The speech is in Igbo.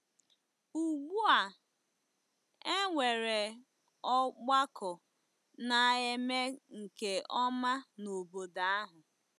Ugbu a, e nwere ọgbakọ na-eme nke ọma n’obodo ahụ.